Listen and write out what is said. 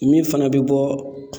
Min fana bɛ bɔ